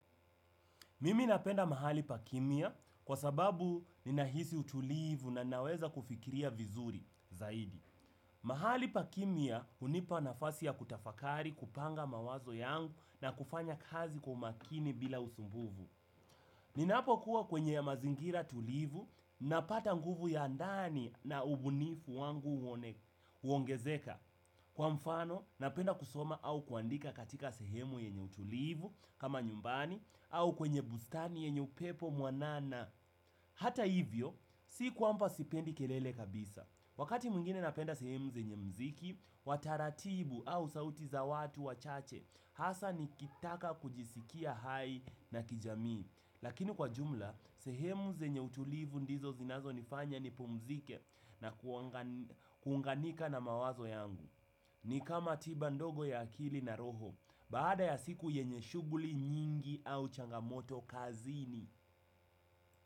Mimi napenda mahali pa kimya kwa sababu ninahisi utulivu na naweza kufikiria vizuri zaidi. Mahali pa kimya hunipa nafasi ya kutafakari kupanga mawazo yangu na kufanya kazi kwa umakini bila usumbufu. Ninapokuwa kwenye mazingira tulivu napata nguvu ya ndani na ubunifu wangu huongezeka. Kwa mfano, napenda kusoma au kuandika katika sehemu yenye utulivu kama nyumbani au kwenye bustani yenye upepo mwanana. Hata hivyo, si kwamba sipendi kelele kabisa. Wakati mwingine napenda sehemu zenye muziki, wa taratibu au sauti za watu wachache, hasa nikitaka kujisikia hai na kijami. Lakini kwa jumla, sehemu zenye utulivu ndizo zinazo nifanya nipumzike na kuunganika na mawazo yangu. Ni kama tiba ndogo ya akili na roho, baada ya siku yenye shughuli nyingi au changamoto kazini.